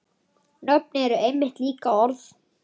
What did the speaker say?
Nöfn eru einmitt líka orð.